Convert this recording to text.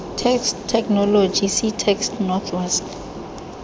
text technology ctext north west